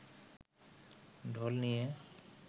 ঢোল নিয়ে